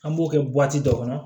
An b'o kɛ dɔ kɔnɔ